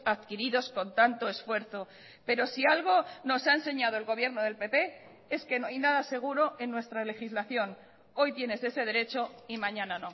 adquiridos con tanto esfuerzo pero si algo nos ha enseñado el gobierno del pp es que no hay nada seguro en nuestra legislación hoy tienes ese derecho y mañana